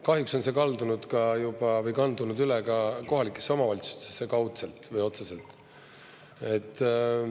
Kahjuks on juba kandunud üle ka kohalikesse omavalitsustesse kaudselt või otseselt.